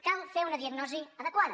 cal fer una diagnosi adequada